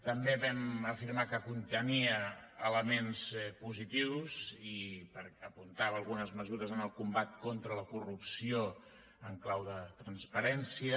també vam afirmar que contenia elements positius i apuntava algunes mesures en el combat contra la corrupció en clau de transparència